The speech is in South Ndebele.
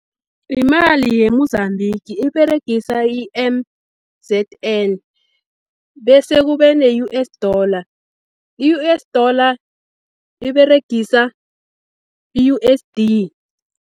Yimali ye-Mozambique, iberegisa i-M_Z_N, bese kubene-U_S dollar. I-U_S dollar iberegisa i-U_S_D.